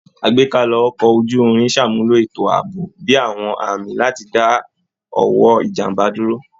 Àgbékalẹ̀ Ọkọ̀ ojú-irin ṣàmúlò ètò ààbò bí i àwọn àmì láti dá ọwọ́ ìjàmbá dúró